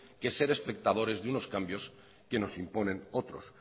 que ser espectadores de unos cambios que nos imponen otros